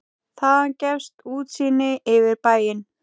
Þaðan gefst útsýni yfir bæinn.